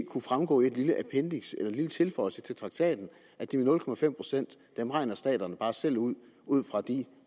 kunne fremgå af et lille appendiks eller en lille tilføjelse til traktaten at de nul procent regner staterne bare selv ud ud fra den